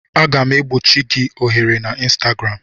Aga m egbochi gị ohere na Ịnstagram